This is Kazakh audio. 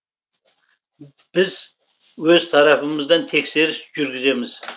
біз өз тарапымыздан тексеріс жүргіземіз